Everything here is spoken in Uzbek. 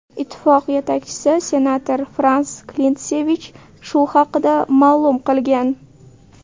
Ittifoq yetakchisi senator Frans Klintsevich shu haqida ma’lum qilgan.